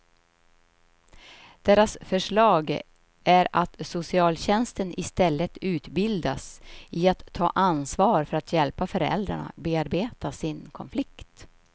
Deras förslag är att socialtjänsten istället utbildas i att ta ansvar för att hjälpa föräldrarna bearbeta sin konflikt.